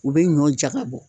U bɛ ɲɔn jaga bɔ.